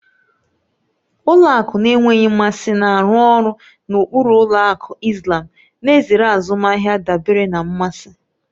Ụlọ akụ na-enweghị mmasị na-arụ ọrụ na ụkpụrụ ụlọ akụ Islàm, na-ezere azụmahịa dabere na mmasị.